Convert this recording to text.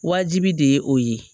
Wajibi de ye o ye